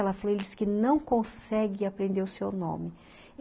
Ela falou, ele disse que não consegue aprender o seu nome.